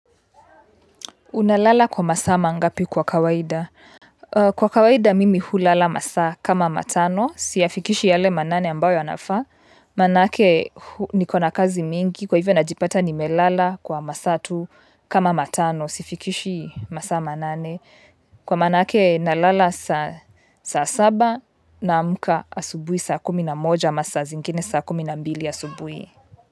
Unalala kwa masaa mangapi kwa kawaida? Kwa kawaida mimi hulala masaa kama matano. Siyafikishi yale manane ambayo yanafaa. Maanake niko na kazi mingi kwa hivyo najipata nimelala kwa masaa tu kama matano. Sifikishi masa manane. Kwa maanake nalala saa saba naamka asubuhi saa kumina moja masaa zingine saa kumi na mbili asubuhi.